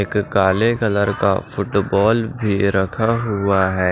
एक काले कलर का फुटबॉल भी रखा हुआ है।